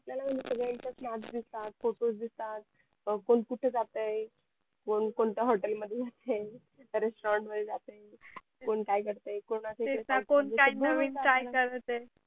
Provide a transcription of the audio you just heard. आपल्याला म्हणजे सगळ्या इच्यात mask दिसतात photos दिसतात कोण कुठे जातंय ते कोणत्या hotel मध्ये जातंय restorant मध्ये जातोय कोण काय करतंय तेच ना कोण काय नवीन try करत आहे